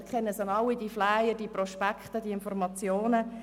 Wir kennen alle die verschiedenen Flyer und Prospekte zu Gesundheitsthemen.